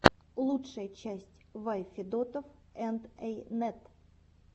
лучшая часть вай федотов энд эй нэт